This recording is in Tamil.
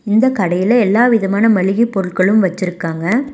இந்த கடையில எல்லா விதமான மள்ளிகை பொருட்களும் வச்சிருக்காங்க.